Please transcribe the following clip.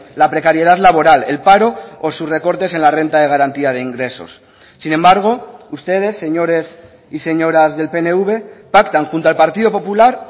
la precariedad laboral el paro o sus recortes en la renta de garantía de ingresos sin embargo ustedes señores y señoras del pnv pactan junto al partido popular